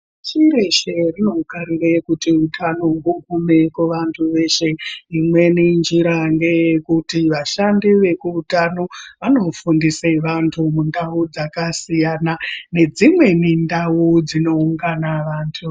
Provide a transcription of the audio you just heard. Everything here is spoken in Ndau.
Pashi reshe rinokarire kuti utano hugume kuvantu veshe. Imweni njira ngeyekuti vashandi vekuutano vanofundise vantu mundau dzakasiyana nedzimweni ndau dzinoungana vantu.